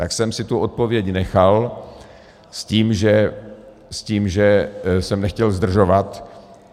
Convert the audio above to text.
Tak jsem si tu odpověď nechal s tím, že jsem nechtěl zdržovat.